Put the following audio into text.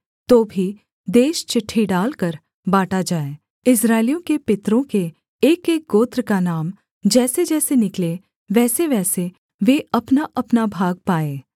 तो भी देश चिट्ठी डालकर बाँटा जाए इस्राएलियों के पितरों के एकएक गोत्र का नाम जैसेजैसे निकले वैसेवैसे वे अपनाअपना भाग पाएँ